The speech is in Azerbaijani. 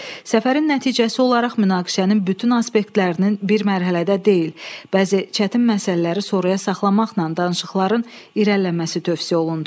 Səfərin nəticəsi olaraq münaqişənin bütün aspektlərinin bir mərhələdə deyil, bəzi çətin məsələləri sonraya saxlamaqla danışıqların irəliləməsi tövsiyə olundu.